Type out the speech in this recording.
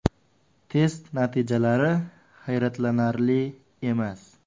Test natijalari hayratlanarli emas.